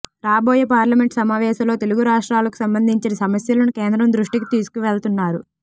రాబోయే పార్లమెంట్ సమావేశాలో తెలుగు రాష్ట్రాలకు సంబంధించిన సమస్యలను కేంద్రం దృష్టికి తీసుకువెళ్తానన్నారు